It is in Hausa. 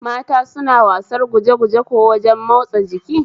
Mata suna wasar gujeguje kuwa wajen matsa jiki?